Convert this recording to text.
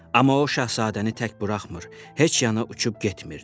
Amma o şahzadəni tək buraxmır, heç yana uçub getmirdi.